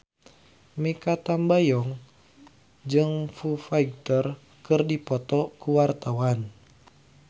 Mikha Tambayong jeung Foo Fighter keur dipoto ku wartawan